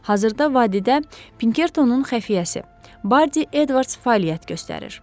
Hazırda vadidə Pinkertonun xəfiyyəsi Bardi Edvards fəaliyyət göstərir.